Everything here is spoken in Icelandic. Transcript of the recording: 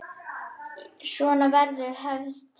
Svona verður hefð til.